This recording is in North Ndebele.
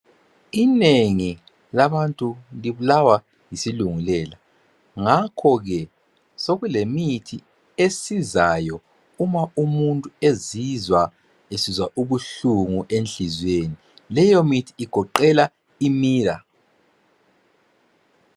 Inengi labantu libulawa yisilungu lela ngakho ke sokulemithi esizayo uma umuntu ezizwa esizwa ubuhlungu enhliziyweni leyo mithi igoqela imira